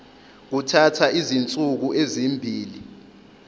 kuthatha izinsuku ezimbili